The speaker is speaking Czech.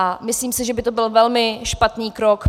A myslím si, že by to byl velmi špatný krok.